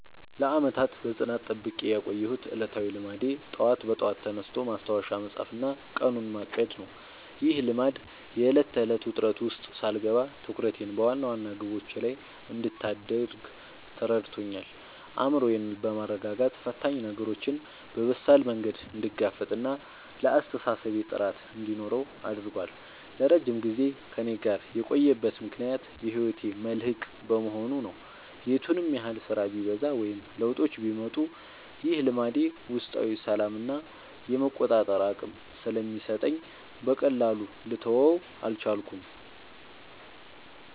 ለዓመታት በጽናት ጠብቄ ያቆየሁት ዕለታዊ ልማዴ ጠዋት በጠዋት ተነስቶ ማስታወሻ መጻፍና ቀኑን ማቀድ ነው። ይህ ልማድ የዕለት ተዕለት ውጥረት ውስጥ ሳልገባ ትኩረቴን በዋና ዋና ግቦቼ ላይ እንድታደርግ ረድቶኛል። አእምሮዬን በማረጋጋት ፈታኝ ነገሮችን በበሳል መንገድ እንድጋፈጥና ለአስተሳሰቤ ጥራት እንዲኖረው አድርጓል። ለረጅም ጊዜ ከእኔ ጋር የቆየበት ምክንያት የህይወቴ መልህቅ በመሆኑ ነው። የቱንም ያህል ስራ ቢበዛ ወይም ለውጦች ቢመጡ፣ ይህ ልማድ ውስጣዊ ሰላምና የመቆጣጠር አቅም ስለሚሰጠኝ በቀላሉ ልተወው አልቻልኩም።